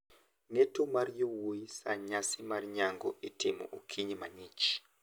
Ng`eto mar yowuoyi sa nyasi mar nyango itimo okinyi mang`ich.